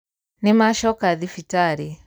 Nĩmacoka thibitarĩ.